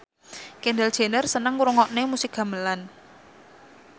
Kendall Jenner seneng ngrungokne musik gamelan